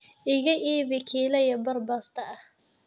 iiga iibbi kila iyo bar Basta ahh